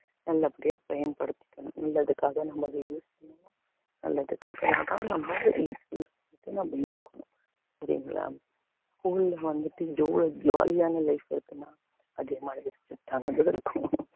நல்லபடியா பயன்படுத்திக்கணும் நல்லதுக்காக நம்ம அதை use பண்ணுவோம் நல்லதுக்காகதான் நம்ம use பண்ணிட்டு நம்ம இருக்கணும் சரிங்களா school ல வந்துட்டு எவ்வளவு jolly யான life இருக்குன்னா அதிகமா இருக்கும்